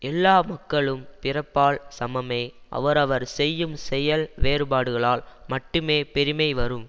எல்லா மக்களும் பிறப்பால் சமமே அவரவர் செய்யும் செயல் வேறுபாடுகளால் மட்டுமே பெருமை வரும்